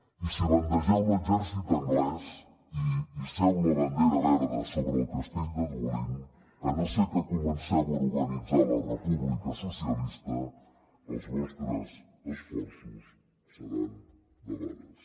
i si bandegeu l’exèrcit anglès i hisseu la bandera verda sobre el castell de dublín a no ser que comenceu a organitzar la república socialista els vostres esforços seran debades